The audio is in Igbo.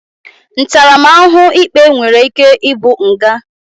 Ntaramahuhu ikpe nwere ike i bu nga.